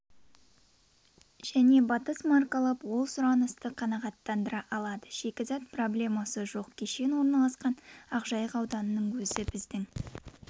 және батыс маркалаб ол сұранысты қанағаттандыра алады шикзат пробелмасы жоқ кешен орналасқан ақжайық ауданының өзі біздің